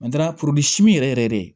yɛrɛ yɛrɛ